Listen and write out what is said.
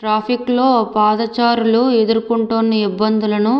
ట్రాఫిక్లో పాదచారులు ఎదుర్కొంటున్న ఇబ్బందులను